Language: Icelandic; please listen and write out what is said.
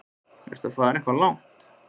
Ertu að fara eitthvað langt?